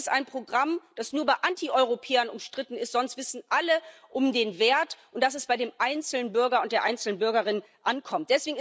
Das ist ein Programm, das nur bei Antieuropäern umstritten ist, sonst wissen alle um den Wert und darum, dass es bei dem einzelnen Bürger und der einzelnen Bürgerin ankommt.